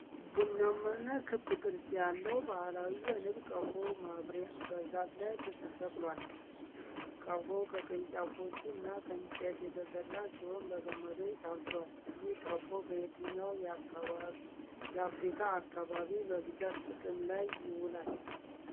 ቡናማና ክብ ቅርጽ ያለው ባህላዊ የንብ ቀፎ (ማብሪያ) በዛፍ ላይ ተሰቅሏል። ቀፎው ከቅርንጫፎች እና ከእንጨት የተሰራ ሲሆን በገመዶች ታስሯል። ይህ ቀፎ በየትኛው የአፍሪካ አካባቢ በብዛት ጥቅም ላይ ይውላል?